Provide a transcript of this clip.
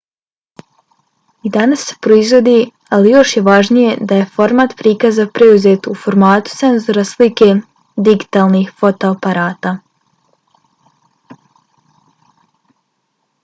i danas se proizvodi ali još je važnije da je format prikaza preuzet u formatu senzora slike digitalnih fotoaparata